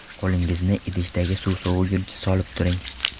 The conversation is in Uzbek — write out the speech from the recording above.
Qo‘lingizni idishdagi suv soviguncha solib o‘tiring.